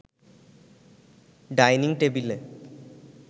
dining টেবিলে